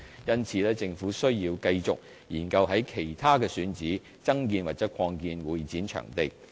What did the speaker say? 因此，政府需要繼續研究於其他選址增建或擴建會展場地。